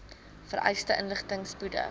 vereiste inligting spoedig